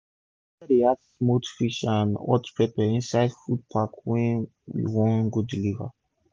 my broda dey add smoked fish and hot pepper inside the food pack wey we wan go deliver